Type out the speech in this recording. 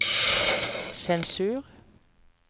sensur